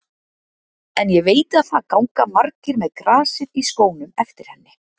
En ég veit að það ganga margir með grasið í skónum eftir henni.